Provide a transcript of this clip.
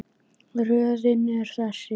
Röðin er þessi